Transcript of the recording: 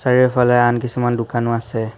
আৰু ইফালে আন কিছুমান দোকানো আছে।